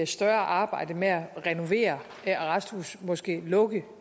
større arbejde med at renovere arresthuse og måske lukke